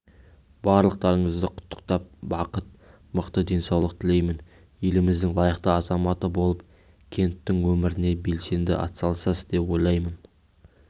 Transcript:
барлықтарыңызды құттықтап бақыт мықты денсаулық тілеймін еліміздің лайықты азаматы болып кенттің өміріне белсенді атсалысасыз деп ойлаймын